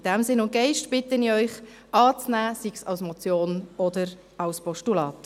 In diesem Sinn und Geist bitte ich Sie, es anzunehmen, sei es als Motion oder als Postulat.